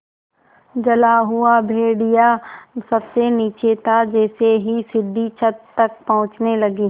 जला हुआ भेड़िया सबसे नीचे था जैसे ही सीढ़ी छत तक पहुँचने लगी